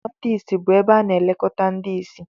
ụlọ ndị ìsì bụ ebe a na-elekọta ndị ìsì